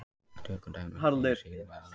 Tökum dæmi um hið síðarnefnda.